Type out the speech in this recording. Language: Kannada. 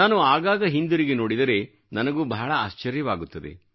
ನಾನು ಆಗಾಗ ಹಿಂದಿರುಗಿ ನೋಡಿದರೆ ನನಗೂ ಬಹಳ ಆಶ್ಚರ್ಯವಾಗುತ್ತದೆ